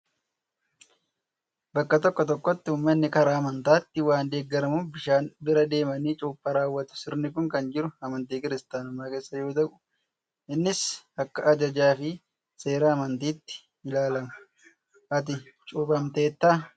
Bakka tokko tokkotti uummanni karaa amantaatiin waan deeggaramuuf bishaan bira deemanii cuuphaa raawwatu. Sirni kun kan jiru amantii kiristaanummaa keessa yoo ta'u, innis akka ajajaa fi seera amantiitti ilaalama. Ati cuuphamteettaa?